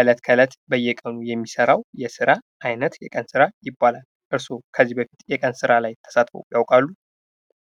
እለት ከእለት በየቀኑ የሚሰራው የስራ አይነት የቀን ስራ ይባላል። እርሶ ከዚህ በፊት የቀን ስራ ላይ ተሳትፈው ያውቃሉ።